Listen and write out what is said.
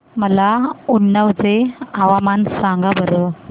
मला उन्नाव चे हवामान सांगा बरं